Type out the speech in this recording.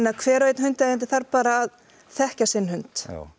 að hver og einn hundaeigandi þarf bara að þekkja sinn hund já